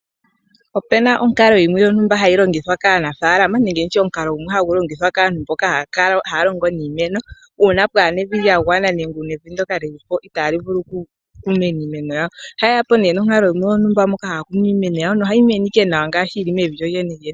Opuna onkalo yimwe hayi longithwa kaanafaalama nenge nditye omukalo gumwe hagu longithwa kaantu mboka haya longo niimeno uuna pwaana evi lya gwana. Nenge evi ndyoka lilipo itaali vulu oku mena iimeno yawo. Ohaye ya po nee nonkalo yontumba ndjoka hayi vulu okumena iimeno yawo nohayi mene ashike nawa ngaashi yili mevi lyo lyene lyene.